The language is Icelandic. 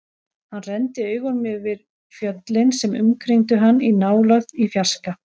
Hann renndi augunum yfir fjöllin sem umkringdu hann, í nálægð, í fjarska.